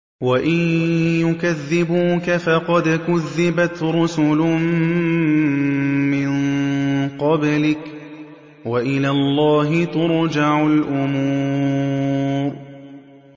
وَإِن يُكَذِّبُوكَ فَقَدْ كُذِّبَتْ رُسُلٌ مِّن قَبْلِكَ ۚ وَإِلَى اللَّهِ تُرْجَعُ الْأُمُورُ